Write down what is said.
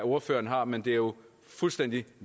ordføreren har men det er jo fuldstændig